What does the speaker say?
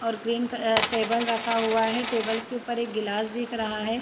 और ग्रीन कक टेबल रखा हुआ है टेबल के ऊपर एक गिलास दिख रहा है।